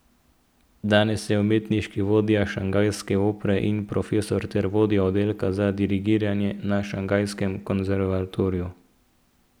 Danes je umetniški vodja Šanghajske opere in profesor ter vodja oddelka za dirigiranje na šanghajskem konservatoriju.